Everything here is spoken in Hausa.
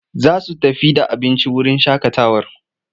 Za su tafi da abinci wurin shaƙatawar.